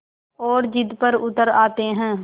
और ज़िद पर उतर आते हैं